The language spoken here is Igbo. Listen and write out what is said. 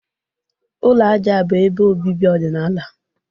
Ụlọ aja bụ ebe obibi ọdịnala.